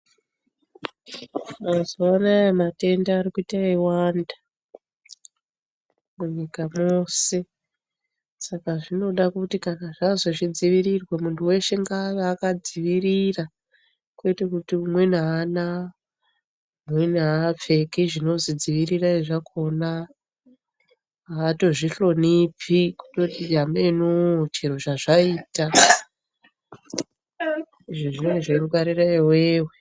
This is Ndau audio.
Mazuva anaya matenda ari kuita eiwanda munyika mose. Saka zvinoda kuti kana zvazi zvidzirirwe muntu veshe ngave akadzivirira kwete kuti umweni haana umweni haapfeki zvinozi dzivirirai zvakona. Hatozvihlonipi kutoti hamenoo chero zvazvaita zvinenge zveingwarire iveve.